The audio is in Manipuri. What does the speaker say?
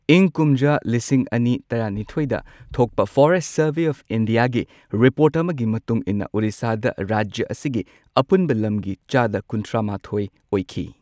ꯏꯪ ꯀꯨꯝꯖꯥ ꯂꯤꯁꯤꯡ ꯑꯅꯤ ꯇꯔꯥꯅꯤꯊꯣꯏꯗ ꯊꯣꯛꯄ ꯐꯣꯔꯦꯁꯠ ꯁꯔꯚꯦ ꯑꯣꯐ ꯏꯟꯗꯤꯌꯥꯒꯤ ꯔꯤꯄꯣꯔꯠ ꯑꯃꯒꯤ ꯃꯇꯨꯡ ꯏꯟꯅ ꯑꯣꯔꯤꯁꯥꯗ ꯔꯥꯖ꯭ꯌ ꯑꯁꯤꯒꯤ ꯑꯄꯨꯟꯕ ꯂꯝꯒꯤ ꯆꯥꯗ ꯀꯨꯟꯊ꯭ꯔꯥ ꯃꯥꯊꯣꯏ ꯑꯣꯏꯈꯤ꯫